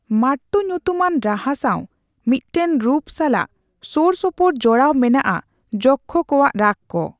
ᱢᱟᱴᱴᱩ ᱧᱩᱛᱩᱢᱟᱱ ᱨᱟᱦᱟ ᱥᱟᱣ ᱢᱤᱫᱴᱟᱝ ᱨᱩᱯ ᱥᱟᱞᱟᱜ ᱥᱳᱨ ᱥᱳᱯᱳᱨ ᱡᱚᱲᱟᱣ ᱢᱮᱱᱟᱜᱼᱟ ᱡᱚᱠᱠᱷᱚ ᱠᱚᱣᱟᱜ ᱨᱟᱜᱽ ᱠᱚ ᱾